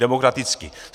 Demokraticky.